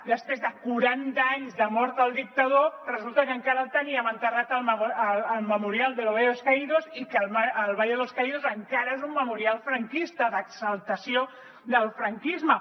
després de quaranta anys de mort el dictador resulta que encara el teníem enterrat al memorial del valle de los caídos i que el valle de los caídos encara és un memorial franquista d’exaltació del franquisme